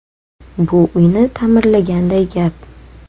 Bu uyni ta’mirlaganday gap.